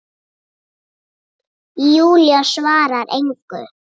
Júlía svarar engu.